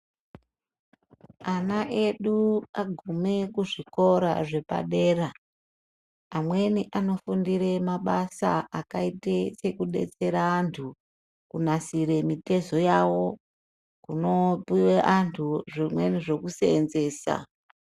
Ana edu agume kuzvikora zvepadera, amweni anofundire mabasa akaite sekubetsera antu kunasire mitezo yawo, kunopiwe antu zvimweni zvekuseenzesa.